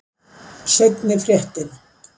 Seinni fréttin.